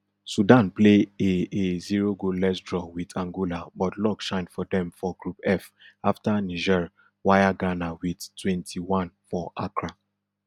sudan play a a zero goalless draw wit angola but luck shine for dem for group f afta niger wire ghana wit twenty-one for accra